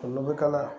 Olu bɛ kalaya